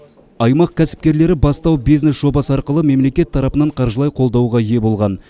аймақ кәсіпкерлері бастау бизнес жобасы арқылы мемлекет тарапынан қаржылай қолдауға ие болған